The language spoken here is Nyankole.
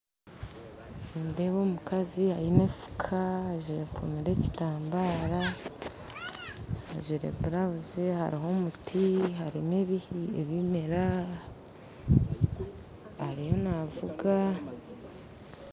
Nindeeba omukazi aine enfuka haza ayekomire ekitambaara ajwaire blouse hariho omuti hariho ebimera ariyo navuga